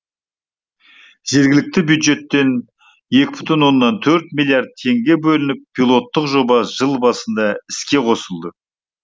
жергілікті бюджеттен екі бүтін оннан төрт миллиард теңге бөлініп пилоттық жоба жыл басында іске қосылды